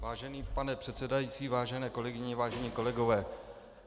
Vážený pane předsedající, vážené kolegyně, vážení kolegové.